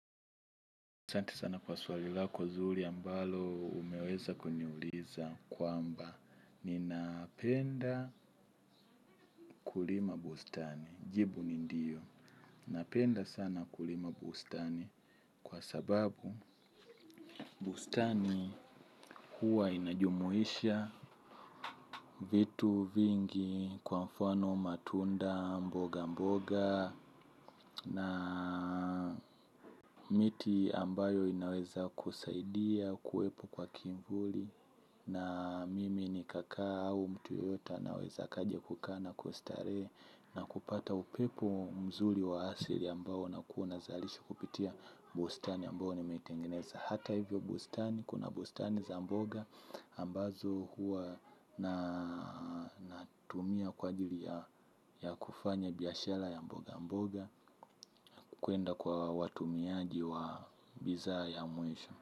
Asante sana kwa swali lako zuri ambalo umeweza kuniuliza kwamba ninapenda kulima bustani, jibu ni ndiyo, napenda sana kulima bustani kwa sababu bustani huwa inajumuisha vitu vingi kwa mfano matunda mboga mboga. Na miti ambayo inaweza kusaidia kuwepo kwa kivuli. Na mimi nikakaa au mtu yoyote naweza kajia kukana kustare. Na kupata upepo mzuri wa asili ambao na kuwazalisha kupitia bustani ambao nimetengineza. Hata hivyo bustani kuna bustani za mboga ambazo hua natumia kwa ajili ya kufanya biashara ya mboga mboga. Kuenda kwa watumiaji wa bidhaa ya mwisho.